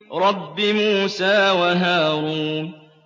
رَبِّ مُوسَىٰ وَهَارُونَ